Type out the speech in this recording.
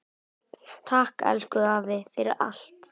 Takk, elsku afi, fyrir allt.